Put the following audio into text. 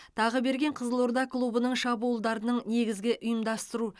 тағыберген қызылорда клубының шабуылдарының негізгі ұйымдастыру